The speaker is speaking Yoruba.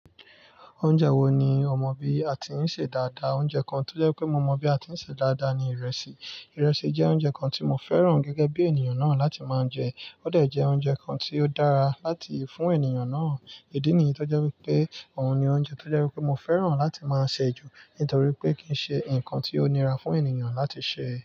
Oúnjẹ wo ni ọmọ bí a ti ń sè dáadáa? Oúnjẹ kan tó jẹ́ pé mo mọ bí a ti ń sè dáadáa ni ìrẹsì. Ìrẹsì jẹ́ oúnjẹ kan tí mo fẹ́ràn gẹ́gẹ́ bí ènìyàn náà láti máa jẹ. Ó de jẹ oúnjẹ kan tí ó dára láti fún ènìyàn náà. Idí nìyí tó jẹ́ wípé òun ni oúnjẹ tó jẹ́ wípé mo fẹ́ràn láti máa sè ju nítorí pé kì í ṣe ǹkan tí ó nira fún ènìyàn láti sè.